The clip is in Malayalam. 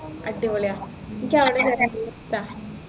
അടിപൊളിയാ എനിക്ക് അവിടെ വരാൻ നല്ല ഇഷ്ടാ